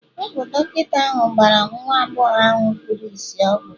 ọ bụ dọkịta ahụ gbara nwa agbọghọ ahụ kpuru ìsì ọgwụ